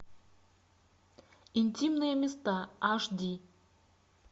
интимные места аш ди